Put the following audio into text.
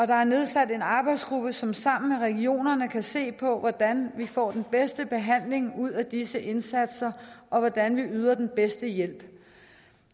der er nedsat en arbejdsgruppe som sammen med regionerne kan se på hvordan vi får den bedste behandling ud af disse indsatser og hvordan vi yder den bedste hjælp